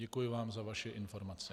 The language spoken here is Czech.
Děkuji vám za vaše informace.